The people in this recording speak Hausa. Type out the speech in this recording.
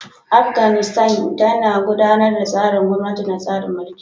Afganistan tana gudanar da tsarin gwamnati na tsarin mulki.